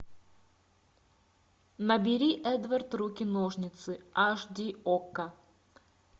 набери эдвард руки ножницы аш ди окко